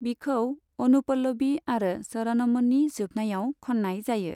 बिखौ अनुपलभि आरो चरणमनि जोबनायाव खननाय जायो।